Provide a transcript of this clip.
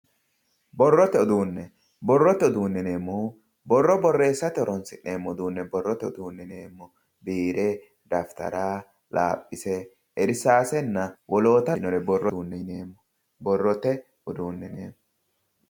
borrote uduunne, borrote uduunne yineemmohu borro borreessate horonsi'neemmo uduunne boroote uduunne yineemmo, biire, dafitara, laaphise, irsaasenna wolootanno lawinore borrote uduunne yineeemmo.